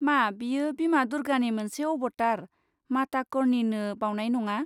मा बेयो बिमा दुर्गानि मोनसे अबतार, माता कर्णीनो बावनाय नङा?